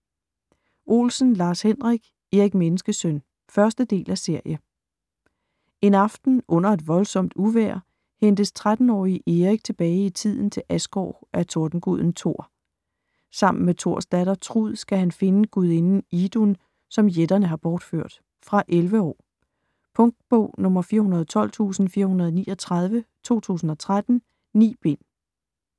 Olsen, Lars-Henrik: Erik Menneskesøn 1. del af serie. En aften - under et voldsomt uvejr - hentes 13-årige Erik tilbage i tiden til Asgård af tordenguden Tor. Sammen med Tors datter, Trud, skal han finde gudinden Idun, som jætterne har bortført. Fra 11 år. Punktbog 412439 2013. 9 bind.